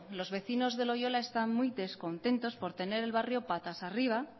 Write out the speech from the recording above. los vecinos de loiola están muy descontentos por tener el barrio patas arriba